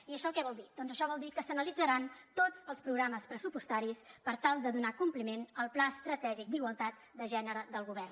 i això què vol dir doncs això vol dir que s’analitzaran tots els programes pressupostaris per tal de donar compliment al pla estratègic d’igualtat de gènere del govern